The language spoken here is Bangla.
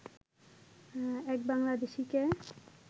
এক বাংলাদেশিকে